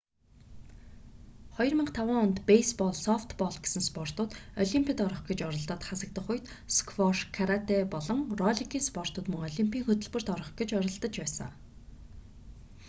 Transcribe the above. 2005 онд бейсбол софтбол гэсэн спортууд олимпод орох гэж оролдоод хасагдах үед сквош каратэ болон ролликийн спортууд мөн олимпийн хөтөлбөрт орох гэж оролдож байсан